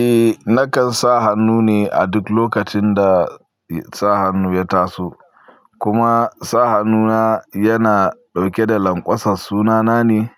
Eh, nakan sa hannu ne a duk lokacin da sa hannu ya taso. Kuma, sa hannu na yana ɗauke da lanƙwasar sunana ne,